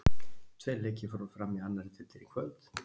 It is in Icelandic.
Tveir leikir fóru fram í annari deildinni í kvöld.